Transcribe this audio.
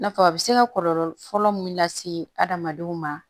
Na fɔ a bɛ se ka kɔlɔlɔ fɔlɔ mun lase adamadenw ma